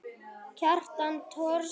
Kjartan Thors.